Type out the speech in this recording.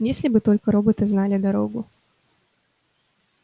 если бы только роботы знали дорогу